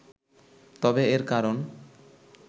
তবে এর কারণ